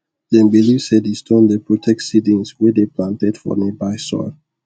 them believe say the stone dey protect seedings wey dey planted for nearby soil